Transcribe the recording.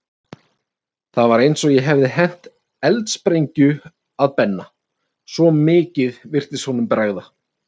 Það var eins og ég hefði hent eldsprengju að Benna, svo mikið virtist honum bregða.